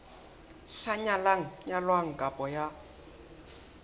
sa nyalang nyalwang kapa ya